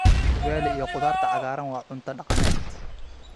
Ugali iyo khudaarta cagaaran waa cunto dhaqameed.